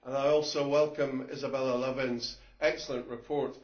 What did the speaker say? I also welcome Isabella Lövin's excellent report.